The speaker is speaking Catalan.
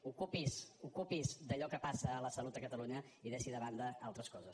ocupi’s ocupi’s d’allò que passa a la salut a catalunya i deixi de banda altres coses